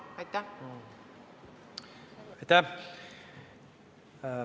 Aitäh!